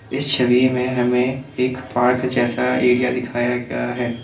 इस छवि में हमें एक पार्क जैसा एरिया दिखाया गया है।